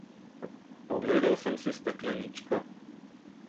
Ogledal sem si stekleničko.